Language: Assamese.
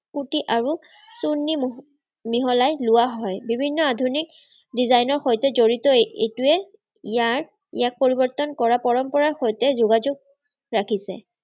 কুৰ্টি আৰু চুৰ্ণী মিহলাই লোৱা হয়। বিভিন্ন আধুনিক design ৰসৈতে জড়িত এইটোৱে ইয়াৰ ইয়াক পৰিবৰ্তন কৰা পৰম্পৰাৰ সৈতে যোগাযোগ ৰাখিছে।